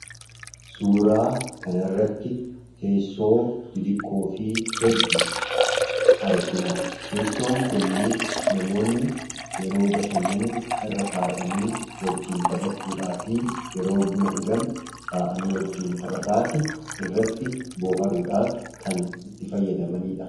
Suuraa kana irratti teessoo xixiqqoo fi hedduu argina. Teessoon kunniis namoonni yeroo bashannan irra taa'anii wajjiin taphachuudhaa fi yeroo buna dhugan taa'anii wajjiin taphataanii irratti booharuudhaaf kan itti fayyadamaniidha.